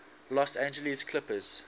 los angeles clippers